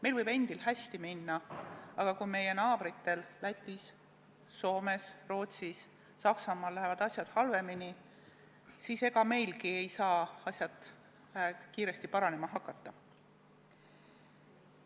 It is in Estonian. Meil võib endil hästi minna, aga kui meie naabritel Lätis, Soomes, Rootsis ja Saksamaal lähevad asjad halvemini, siis ega meilgi ei saa asjad kiiresti paranema hakata.